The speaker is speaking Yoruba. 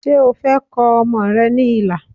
Ṣé o fẹ́ kọ ọmọ rẹ ní ilà